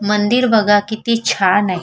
मंदिर बघा किती छान आहे.